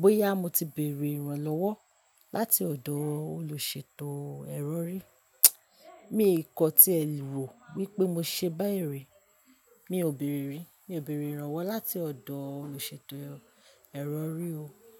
bóyá mo ti béèrè ìran lọ́wọ́ láti ọ̀dọ̀ olùṣètò ẹrọrí. Mi ò kọ tí ẹ wò wípé mo ṣe báyìí rí. Mi ò béèrè rí, mi ò béèrè ìran wá láti ọ̀dọ̀ olùṣètò ẹrọ rí o.